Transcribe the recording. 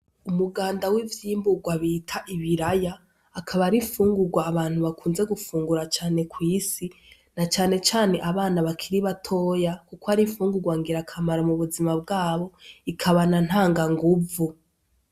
Umuganda w'ivyimburwa bita ibiraya akaba ari ifungurwa abantu bakunze gufungura cane kw'isi na canecane abana bakiri batoya, kuko ari fungurwangera akamara mu buzima bwabo ikabana nta nga nguvu.